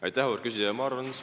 Aitäh, auväärt küsija!